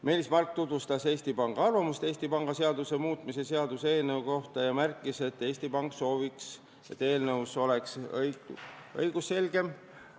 Meelis Mark tutvustas Eesti Panga arvamust Eesti Panga seaduse muutmise seaduse eelnõu kohta ja märkis, et Eesti Pank sooviks, et eelnõu oleks õigusselgem.